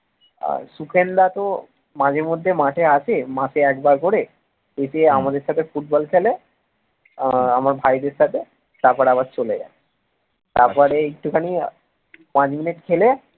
আহ সুখেন দা তো মাঝেমধ্যে মাঠে আসে মাসে একবার করে এসে আমাদের সাথে ফুটবল খেলে আহ আমার ভাইদের সাথে তারপর আবার চলে যায় তারপর একটুখানি পাঁচ মিনিট খেলে